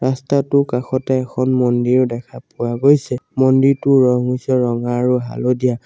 ৰাস্তাটোৰ কাষতে এখন মন্দিৰও দেখা পোৱা গৈছে মন্দিৰটোৰ ৰং হৈছে ৰঙা আৰু হালধীয়া।